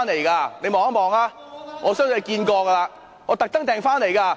請你看一看，我相信你看過了，我特地訂購的。